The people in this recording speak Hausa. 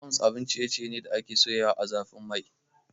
Buns abun ciye ciye ne da ake soyawa ã zafin Mai.